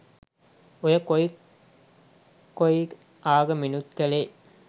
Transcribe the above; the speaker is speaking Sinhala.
ඔය කොයි කොයි ආගමෙනුත් කලේ